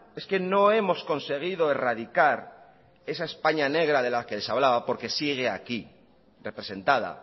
es que no hemos conseguido erradicar esa españa negra de la que les hablaba porque sigue aquí representada